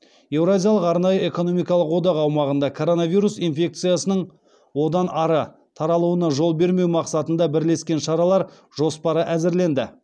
еуразиялық арнайы экономикалық одақ аумағында коронавирус инфекциясының одан ары таралуына жол бермеу мақсатында бірлескен шаралар жоспары әзірленді